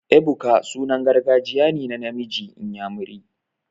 Ebuka sunan gargajiya ne na namiji inyamiri.